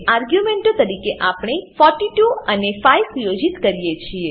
આર્ગ્યુંમેંટો તરીકે આપણે 42 અને 5 સુયોજિત કરીએ છીએ